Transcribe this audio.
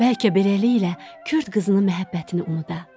Bəlkə beləliklə Kürd qızının məhəbbətini unuda.